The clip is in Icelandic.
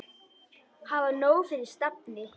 Hafa nóg fyrir stafni.